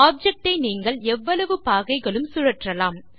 object ஐ நீங்கள் எவ்வளவு பாகைகளும் சுழற்றலாம்